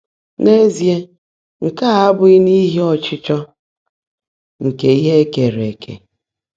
N’ézíe, nkè á ábụ́ghị́ n’íhí ‘ọ́chịchọ́ nkè íhe è keèré ékè.’